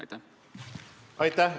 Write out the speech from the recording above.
Aitäh!